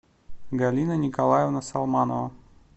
галина николаевна салманова